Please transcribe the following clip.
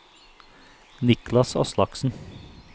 Niklas Aslaksen